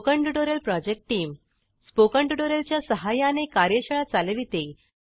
spoken tutorial project team spoken tutorial च्या सहाय्याने कार्यशाळा चालविते